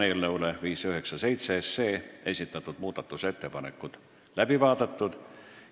Eelnõu 597 kohta esitatud muudatusettepanekud on läbi vaadatud.